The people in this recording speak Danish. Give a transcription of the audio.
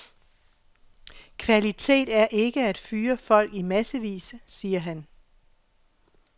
Kvalitet er ikke at fyre folk i massevis, siger han.